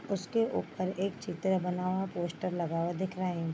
उसके ऊपर एक चित्र बना है पोस्टर लगा हुआ दिख रहें हैं।